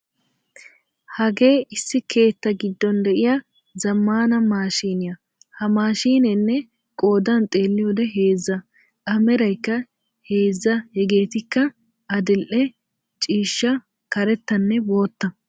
Hagee issi keettaa giddon de'iya zammana maashiniya ha maashshinee qoodan xeeliyode heezza. A meraykka heezza hegeetikka adil"e ciishshaa, karettanne botta.